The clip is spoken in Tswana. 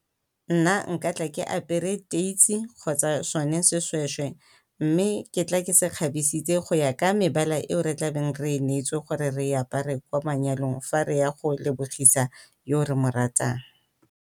Nna nka tla ke apere kgotsa sona se seshweshwe mme ke tla ke se kgabisitse go ya ka mebala eo re tla beng re e neetswe gore re e apare kwa manyalong fa re ya go lebogisa yo re mo ratang.